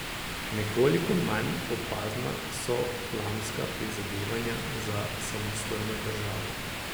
Nekoliko manj opazna so flamska prizadevanja za samostojno državo.